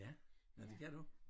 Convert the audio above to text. Ja nåh det kan du?